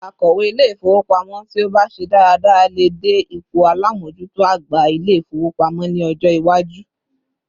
Akowe Ilé-ifowopamo ti o ba se daradara lè dé ipò alamojuto àgbà Ilé-ifowopamo ni ọjọ iwaju